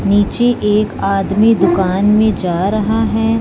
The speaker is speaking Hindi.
नीचे एक आदमी दुकान मे जा रहा है।